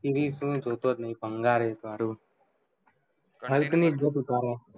series તો હું જોટોજ નહીં ભંગાર એ તો હારુ ultimate જો તો ખરો